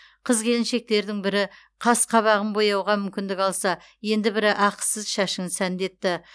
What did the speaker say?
қыз келіншектердің бірі қасы қабағын бояуға мүмкіндік алса енді бірі ақысыз шашын сәндетті